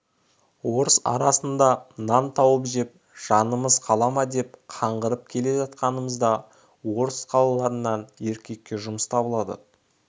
орыс арасында нан тауып жеп жанымыз қала ма деп қаңғырып келе жатқанымыз да орыс қалаларынан еркекке жұмыс табылады